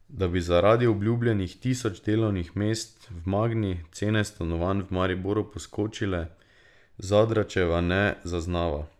Da bi zaradi obljubljenih tisoč delovnih mest v Magni cene stanovanj v Mariboru poskočile, Zadravčeva ne zaznava.